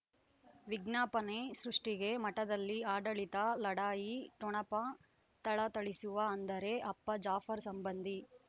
ವಿಜ್ಞಾಪನೆ ಸೃಷ್ಟಿಗೆ ಮಠದಲ್ಲಿ ಆಡಳಿತ ಲಢಾಯಿ ಠೊಣಪ ಥಳಥಳಿಸುವ ಅಂದರೆ ಅಪ್ಪ ಜಾಫರ್ ಸಂಬಂಧಿ